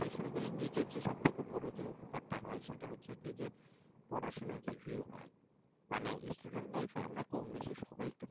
tuition নি করলে নিজের সব থেকে বড় যে উপকারটা হয় সেটা হচ্ছে পড়াশোনায় review হয় মানে student life কম বেশি সবাই